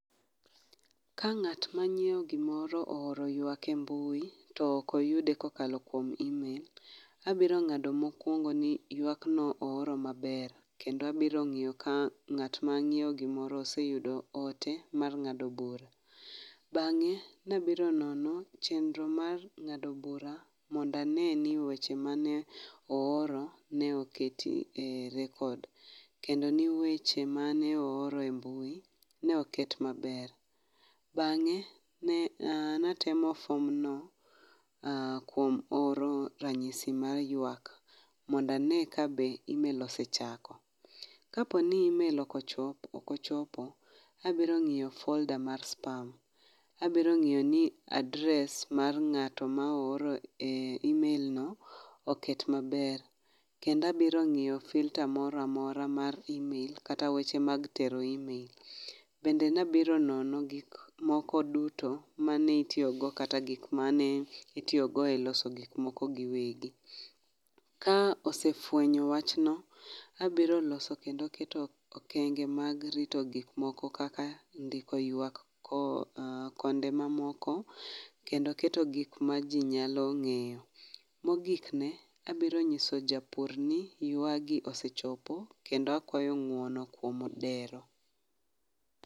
Ka ng'at manyiewo gimoro ooro ywak e mbui, to ok oyude kokalo kuom imel. Abiro ng'ado mokwongo ni ywak no ooro maber, kendo abiro ng'iyo ka ng'at ma ng'iyo gimoro oseyudo ote mar ng'ado bura. Bang'e, nabiro nono chendro mar ng'ado bura monda ne ni weche mane ooro ne oketi e rekod. Kendo ni weche mane ooro e mbui ne oket maber. Bang'e ne natemo fom no kuom oro ranyisi mar ywak, manda ne ka be imel osechako. Ka poni imel okochop okochopo, abiro ng'iyo folda mar spam, abiro ng'iyo ni adres mar ng'ato ma ooro e imel no oket maber. Kenda biro ng'iyo filta moramora mar imel kata weche mag tero imel. Bende nabiro nono gik moko duto mane itiyogo kata gik mane itiyogo e loso gik moko gi wegi. Ka osefwenyo wachno, abiro loso kendo keto okenge mag rito gik moko kaka ndiko ywak ko konde ma moko. Kendo keto gik ma ji nyalo ng'iyo. Mogik ne, abiro nyiso japur ni ywa gi osechopo kendo akwayo ng'uono kuom dero.